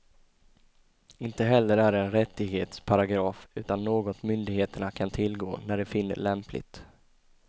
Inte heller är det en rättighetsparagraf, utan något myndigheterna kan tillgå när de finner lämpligt.